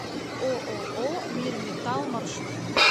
ооо мирметалл маршрут